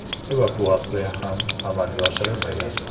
Evakuatsiya ham amalga oshirilmagan.